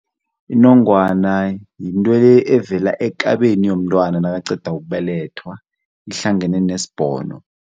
Inongwana yintwele evela ekabeni yomntwana nakaqeda ukubelethwa ihlangene nesbhono.